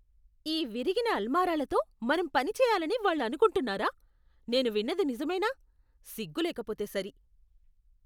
ఈ విరిగిన అల్మారాలతో మనం పని చేయాలని వాళ్ళు అనుకుంటున్నారా! నేను విన్నది నిజమేనా? సిగ్గులేకపోతే సరి.